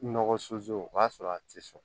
Nɔgɔ o b'a sɔrɔ a ti sɔn